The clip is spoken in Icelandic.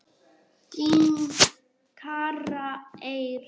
Þín, Kara Eir.